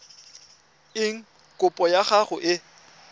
eng kopo ya gago e